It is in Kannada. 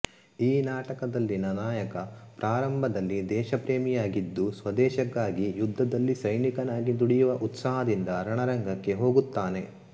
ಈ ನಾಟಕದಲ್ಲಿನ ನಾಯಕ ಪ್ರಾರಂಭದಲ್ಲಿ ದೇಶ ಪ್ರೇಮಿಯಾಗಿದ್ದು ಸ್ವದೇಶಕ್ಕಾಗಿ ಯುದ್ಧದಲ್ಲಿ ಸೈನಿಕನಾಗಿ ದುಡಿಯುವ ಉತ್ಸಾಹದಿಂದ ರಣರಂಗಕ್ಕೆ ಹೋಗುತ್ತಾನೆ